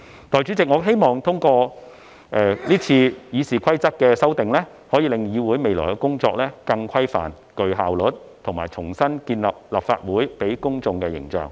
代理主席，我希望通過這次《議事規則》的修訂，可令議會未來的工作更規範和具效率，以及重新建立立法會給予公眾的形象。